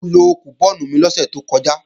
Mo lo kùpọ́ọ̀nù mi lọ́sẹ̀ tó kọjá